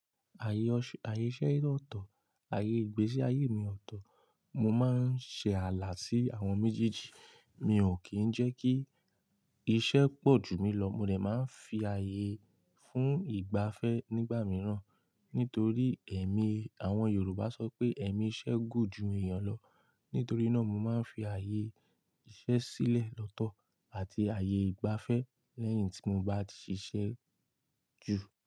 Ayé iṣẹ́ ọ̀tọ̀, ayé ìgbésí ayé mi ọ̀tọ̀. Mo máa ń ṣe ààlà sí àwọn méjèèjì. Mi ò kí ń jẹ́ kí iṣẹ́ pọ̀jù mí lọ, mo dẹ̀ máa ń fi ayé fún ìgbafẹ́ nígbà mìíràn. Nítorí ẹ̀mí àwọn Yorùbá sọ pé ẹ̀mí iṣẹ́ gùn jù èèyàn lọ. Nítorí náà mo máa ń fi ayé iṣẹ́ sílẹ̀ lọ́tọ̀ àti ayé ìgbafẹ́ lẹ́yìn tí mo bá ti ṣiṣẹ́ jù.